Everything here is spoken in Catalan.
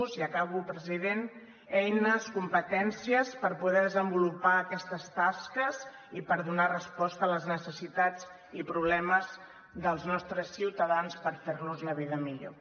i acabo president eines competències per poder desenvolupar aquestes tasques i per donar resposta a les necessitats i problemes dels nostres ciutadans per ferlos la vida millor